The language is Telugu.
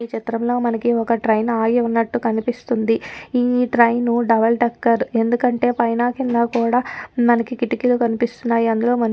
ఈ చిత్రంలో మనకి ఒక్క ట్రెయిన్ ఆగి ఉన్నటు కనిపిస్తుంది. ఈ ట్రెయిన్ డబుల్ డెక్కర్ ఎందుకంటే పైన కింద కూడా మనకి కిట్టకీలు కనిపిస్తున్నాయి. అందులో మని--